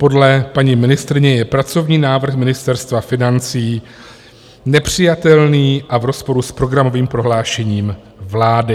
Podle paní ministryně je pracovní návrh Ministerstva financí nepřijatelný a v rozporu s programovým prohlášením vlády.